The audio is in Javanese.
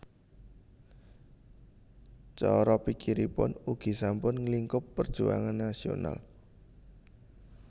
Cara pikiripun ugi sampun nglingkup perjuangan nasional